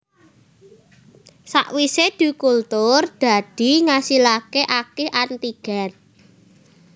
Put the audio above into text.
Sakwise dikultur dadi ngasilaké akeh antigen